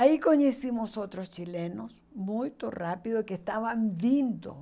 Aí conhecemos outros chilenos muito rápido que estavam vindo.